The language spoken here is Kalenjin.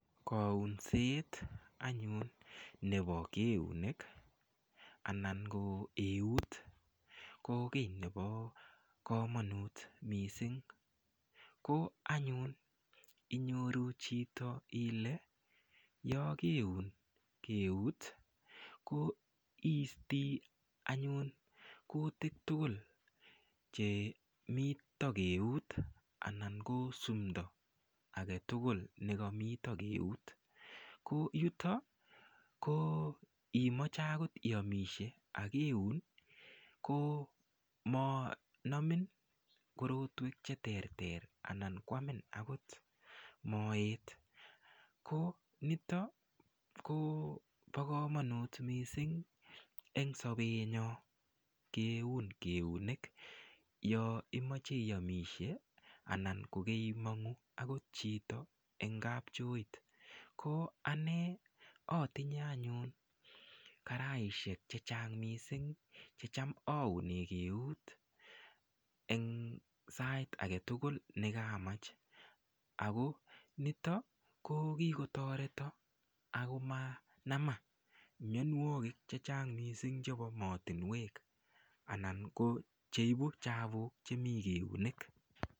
Kaunset anyun nebo keunek anan ko eut ko kii nebo komanut mising' ko anyun inyoru chito ile yokeun keut ko iisti anyun kutik tugul chemito keut anan ko sumto agetugul nekamito keut ko yuto ko imoche akot iomishe akiun komanomin korotwek cheterter anan kwamin akot moet ko noto kobo kamanut mising' eng' sobenyo keun keunek yo imoche iomishe anan kokeimong'u akot chito eng' kapchoit ko ane atinye anyun karaishek chechang' mising' checham aune keut eng' sait age tugul nekamach ako nito ko kikotoreto ako manama mionwokik chechang' mising' chebo mootinwek anan cheibu chapuk chemi eunek